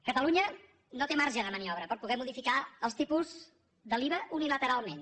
ca·talunya no té marge de maniobra per poder modificar els tipus de l’iva unilateralment